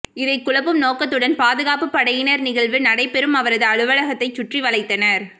இதை குழப்பும் நோக்கத்துடன் பாதுகாப்பு படையினர் நிகழ்வு நடைபெறும் அவரது அலுவலகத்தை சுற்றி வளைத்தனர்